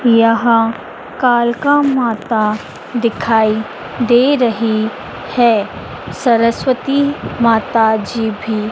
यहां कालका माता दिखाई दे रही है सरस्वती माताजी भी--